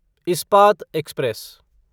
Ispat express